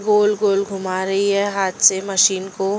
गोल गोल घुमा रही है हाथ से मशीन को --